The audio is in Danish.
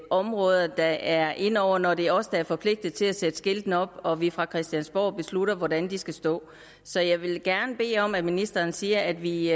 området der er inde over når det er os der er forpligtede til at sætte skiltene op og vi fra christiansborg beslutter hvordan de skal stå så jeg vil gerne bede om at ministeren siger at vi